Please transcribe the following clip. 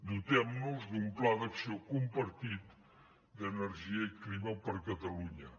dotem nos d’un pla d’acció compartit d’energia i clima per a catalunya